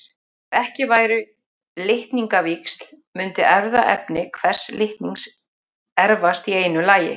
Ef ekki væru litningavíxl mundi erfðaefni hvers litnings erfast í einu lagi.